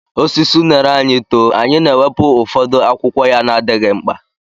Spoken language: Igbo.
Osisi unere anyị too, anyị na-ewepụ ụfọdụ akwụkwọ ya na-adịghị mkpa.